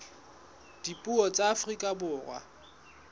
dipuo tsa afrika borwa tsa